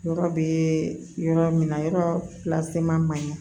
Yɔrɔ bɛ yɔrɔ min na yɔrɔ man ɲi